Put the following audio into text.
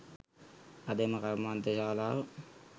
අද එම කර්මාන්තශාලාව